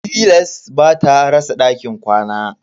Tilas bata rasa dakin ƙwana.